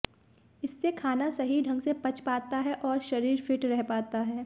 इससे खाना सही ढंग से पच पाता है और शरीर फिट रह पाता है